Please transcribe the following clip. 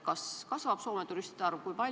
Kas kasvab Soome turistide arv?